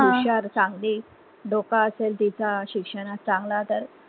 हुशार चांगली डोकं असेल तिचा शिक्षणात चंगळा तर